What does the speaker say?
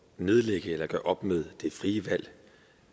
nedlægge eller gøre op med det frie valg